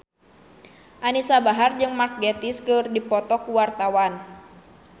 Anisa Bahar jeung Mark Gatiss keur dipoto ku wartawan